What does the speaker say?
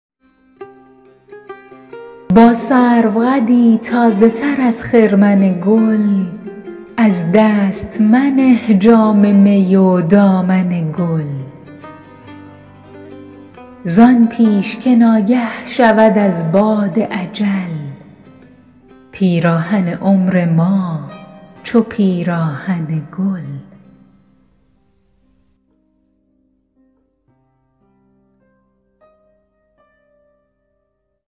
با سرو قدی تازه تر از خرمن گل از دست منه جام می و دامن گل زان پیش که ناگه شود از باد اجل پیراهن عمر ما چو پیراهن گل